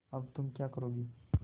अब तुम क्या करोगी